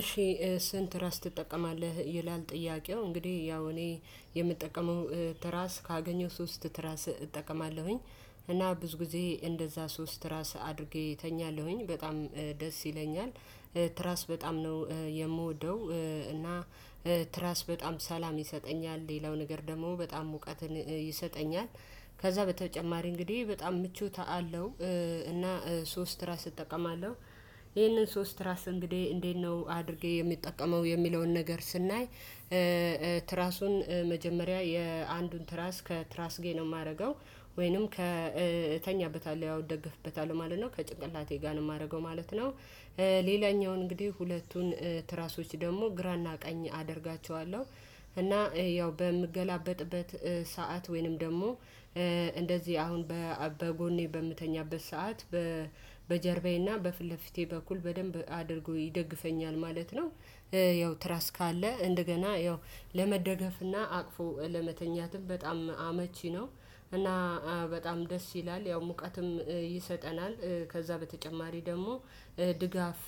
እሺ። ስንት ራስ ትጠቀማለህ? ይላል ጥያቄው እንግዲህ ያው እኔ የምጠቀመው ትራስ ካገኘው ሶስት ትራስ እጠቀማለሁኝ። እና ብዙ ጊዜ እንደዛ ሶስት ትራስ አድርጌ እተኛለሁኝ በጣም ደስ ይለኛል። ትራስ በጣም ነው የምወደው። እና ትራስ በጣም ሰላም ይሰጠኛል ሌላው ነገር ደግሞ በጣም ሙቀትን ይሰጠኛል። ከዛ በተጨማሪ እንግዲህ በጣም ምቹት አለው። እና ሶስት ትራስ እጠቀማለሁ። ይሄንን ሶስት ትራስ እንግዲህ እንዴት ነው አድርጌ የምጠቀመው የሚለውን ነገር ስናይ። ትራሱን መጀመሪያ የአንዱን ትራስ ከትራስ ጌ ነው የማደርገው። ወይንም ከተኛበታል ያው ደገፍበታል ማለት ነው ከጭንቅላቴ ጋር ነው የማደርገው ማለት ነው። ሌላኛው እንግዲህ ሁለቱን ትራሶች ደግሞ ግራና ቀኝ አደርጋቸዋለሁ። እና ያው በምገላበጥበት ሰዓት ወይንም ደግሞ እንደዚህ አሁን በጎኔ በምተኛበት ሰዓት በጀርባዬና በፊልፊቴ በኩል በደንብ አድርጎ ይደግፈኛል ማለት ነው። ያው ትራስካ አለ እንደገና ያው ለመደገፍና አቅፎ ለመተኛትም በጣም አመቺ ነው። እና በጣም ደስ ይላል። ያው ሙቀትም ይሰጠናል ከዛ በተጨማሪ ደግሞ ድጋፍ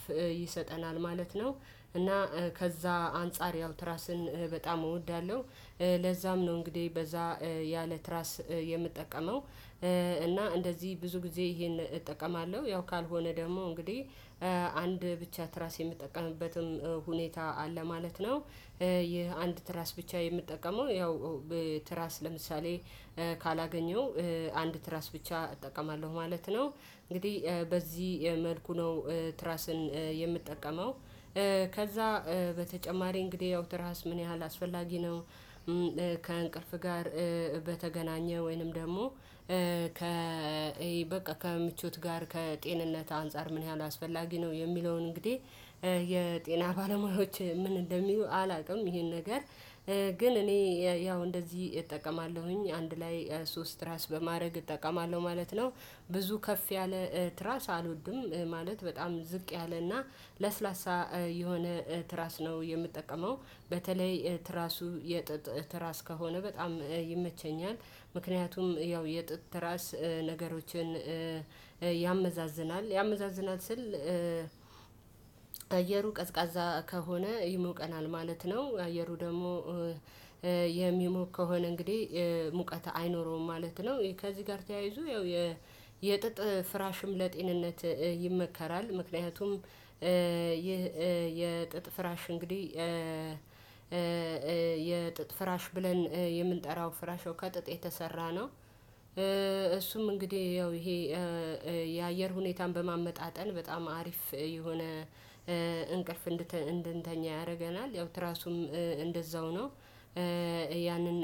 ይሰጠናል ማለት ነው። እና ከዛ አንፃር ያው ትራስን በጣም እወዳለሁ። ለዛም ነው እንግዲህ በዛ ያለ ትራስ የምጠቀመው። እና እንደዚህ ብዙ ጊዜ ይሄን እጠቀማለሁ ያው ካልሆነ ደግሞ እንግዲህ አንድ ብቻ ትራስ የምጠቀምበትም ሁኔታ አለ ማለት ነው። ይህ አንድ ትራስ ብቻ የምትጠቀመው ያው ትራስ ለምሳሌ ካላገኘው አንድ ትራስ ብቻ እጠቀማለሁ ማለት ነው። እንግዲህ በዚህ መልኩ ነው ትራስን የምትጠቀመው። ከዛ በተጨማሪ እንግዲህ ያው ትራስ ምን ያህል አስፈላጊ ነው? ከእንቅልፍ ጋር በተገናኘ ወይንም ደግሞ ከ በቃ ከምቾት ጋር ከጤንነት አንፃር ምን ያህል አስፈላጊ ነው? የሚለውን እንግዲህ የጤና ባለሙያዎች ምን እንደሚሉ አላውቅም። ይሄን ነገር ግን እኔ ያው እንደዚህ እጠቀማለሁኝ አንድ ላይ ሶስት ትራስ በማድረግ እጠቀማለሁ ማለት ነው። ብዙ ከፍ ያለ ትራስ አልወድም ማለት በጣም ዝቅ ያለና ለስላሳ የሆነ ትራስ ነው የምጠቀመው። በተለይ ትራሱ የጥጥ ትራስ ከሆነ በጣም ይመቸኛል። ምክንያቱም ያው የጥጥ ትራስ ነገሮችን ያመዛዝናል ያመዛዝናል ስል አየሩ ቀዝቃዛ ከሆነ ይሞቀናል ማለት ነው። አየሩ ደግሞ የሚሞቅ ከሆነ እንግዲህ ሙቀት አይኖረውም ማለት ነው። ከዚህ ጋር ተያይዞ ያው የጥጥ ፍራሽም ለጤንነት ይመከራል። ምክንያቱም ይህ የጥጥ ፍራሽ እንግዲህ የጥጥ ፍራሽ ብለን የምንጠራው ፍራሽ ከጥጥ የተሰራ ነው። እሱም እንግዲህ ያው ይሄ የአየር ሁኔታን በማመጣጠን በጣም አሪፍ የሆነ እንቅልፍ እንድንተኛ ያደርገናል። ያው ትራሱም እንደዛው ነው። ያንን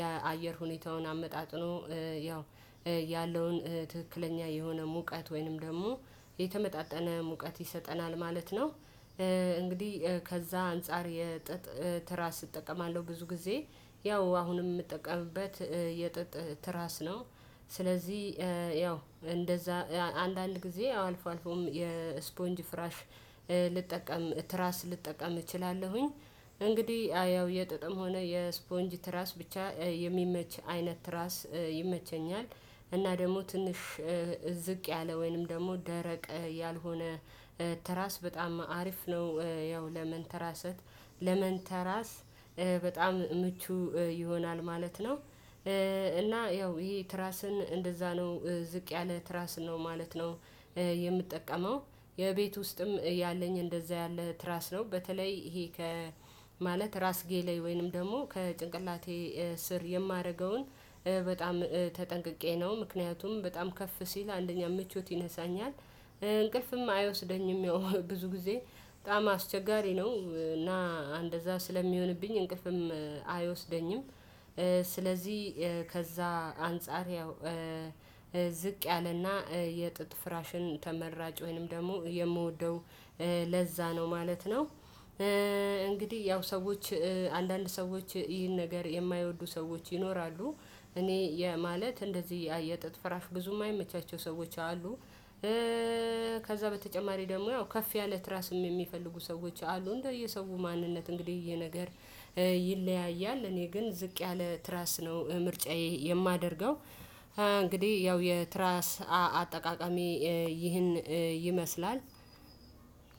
የአየር ሁኔታውን አመጣጥኖ ያው ያለውን ትክክለኛ የሆነ ሙቀት ወይንም ደግሞ የተመጣጠነ ሙቀት ይሰጠናል ማለት ነው። እንግዲህ ከዛ አንፃር የጥጥ የትራስ እጠቀማለሁ ብዙ ጊዜ ያው አሁንም የምጠቀምበት የጥጥ ትራስ ነው። ስለዚህ ያው እንደዛ አንዳንድ ጊዜ አልፎ አልፎም የስፖንጅ ፍራሽ ልጠቀም ትራስ ልጠቀም እችላለሁኝ። እንግዲህ ያው የጥጥም ሆነ የስፖንጅ ትራስ ብቻ የሚመች አይነት ትራስ ይመቸኛል። እና ደግሞ ትንሽ ዝቅ ያለ ወይንም ደግሞ ደረቅ ያልሆነ ትራስ በጣም አሪፍ ነው። ያው ለመንተራሰት ለመንተራስ በጣም ምቹ ይሆናል ማለት ነው። እና ያው ይሄ ትራስን እንደዛ ነው ዝቅ ያለ ትራስ ነው ማለት ነው። የምጠቀመው የቤት ውስጥም ያለኝ እንደዛ ያለ ትራስ ነው በተለይ ይሄ ከ ማለት ራስ ጌሌ ወይንም ደግሞ ከጭንቅላቴ ስር የማደርገውን በጣም ተጠንቅቄ ነው ምክንያቱም በጣም ከፍ ሲል አንደኛ ምቾት ይነሳኛል። እንቅልፍም አይወስደኝም። ብዙ ጊዜ በጣም አስቸጋሪ ነው እና እንደዛ ስለሚሆንብኝ እንቅልፍም አይወስደኝም። ስለዚህ ከዛ አንፃር ያው ዝቅ ያለና የጥጥ ፍራሽን ተመራጭ ወይንም ደግሞ የምወደው ለዛ ነው ማለት ነው። እንግዲህ ያው ሰዎች አንዳንድ ሰዎች ይህን ነገር የማይወዱ ሰዎች ይኖራሉ። እኔ የማለት እንደዚህ የጥጥ ፍራፍ ብዙም ማይመቻቸው ሰዎች አሉ። ከዛ በተጨማሪ ደግሞ ያው ከፍ ያለ ትራስም የሚፈልጉ ሰዎች አሉ እንደየሰው ማንነት እንግዲህ የነገር ይለያያል። እኔ ግን ዝቅ ያለ ትራስ ነው ምርጫዬ የማደርገው። እንግዲህ ያው የትራስ አ አጠቃቀሚ ይህን ይመስላል።